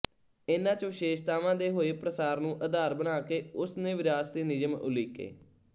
ਇਨ੍ਹਾਂ ਚ ਵਿਸ਼ੇਸ਼ਤਾਵਾਂ ਦੇ ਹੋਏ ਪ੍ਰਸਾਰ ਨੂੰ ਆਧਾਰ ਬਣਾ ਕੇ ਉਸ ਨੇ ਵਿਰਾਸਤੀ ਨਿਯਮ ਉਲੀਕੇ